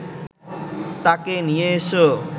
তাঁকে নিয়ে এসো